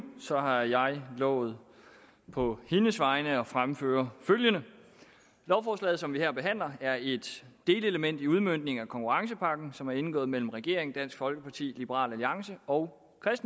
har jeg lovet på hendes vegne at fremføre følgende lovforslaget som vi her behandler er et delelement i udmøntningen af konkurrencepakken som er indgået mellem regeringen dansk folkeparti liberal alliance og